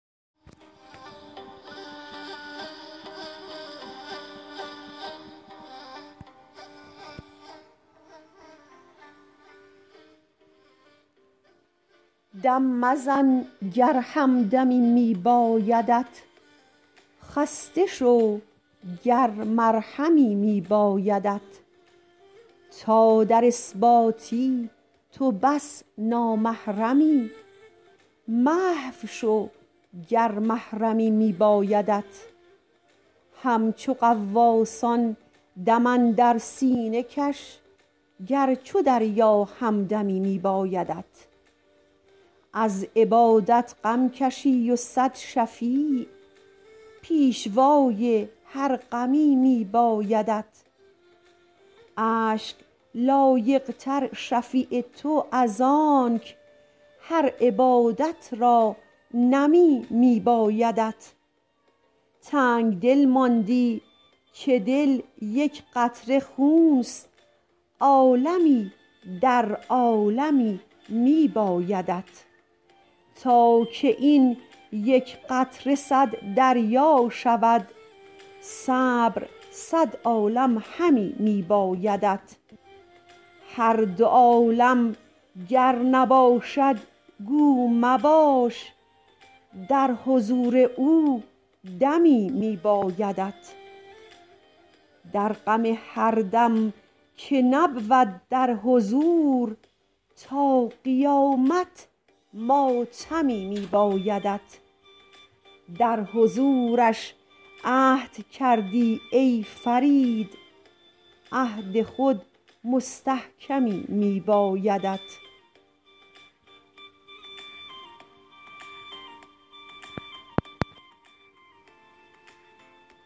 دم مزن گر همدمی می بایدت خسته شو گر مرهمی می بایدت تا در اثباتی تو بس نامحرمی محو شو گر محرمی می بایدت همچو غواصان دم اندر سینه کش گر چو دریا همدمی می بایدت از عبادت غم کشی و صد شفیع پیشوای هر غمی می بایدت اشک لایق تر شفیع تو از آنک هر عبادت را نمی می بایدت تنگدل ماندی که دل یک قطره خونست عالمی در عالمی می بایدت تا که این یک قطره صد دریا شود صبر صد عالم همی می بایدت هر دو عالم گر نباشد گو مباش در حضور او دمی می بایدت در غم هر دم که نبود در حضور تا قیامت ماتمی می بایدت در حضورش عهد کردی ای فرید عهد خود مستحکمی می بایدت